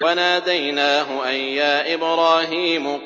وَنَادَيْنَاهُ أَن يَا إِبْرَاهِيمُ